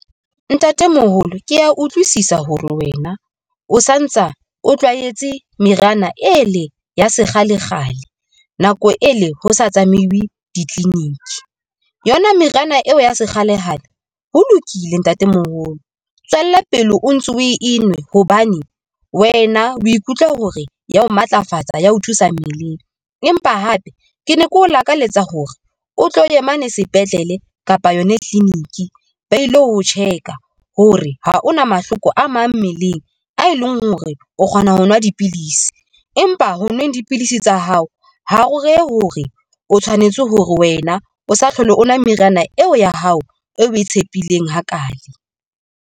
Ntatemoholo, ke ya utlwisisa hore wena o sa ntsa o tlwaetse meriana e leng ya sekgalekgale, nako e le ho sa tsamaye di clinic. Yona meriana eo ya sekgalekgale ho lokile ntatemoholo tswella pele o ntso o e nwe hobane wena o ikutlwa hore ya ho matlafatsa ya ho thusa mmeleng. Empa hape ke ne keo lakalletsa hore o tlo ye mane sepetlele kapa yona clinic ba ilo ho check a hore ha o na mahloko a mang mmeleng a e leng hore o kgona ho nwa dipidisi, empa ho nweng dipidisi tsa hao ho re re hore o tshwanetse hore wena o sa hlole o nwa meriana eo ya hao e o ko tshepileng hakale.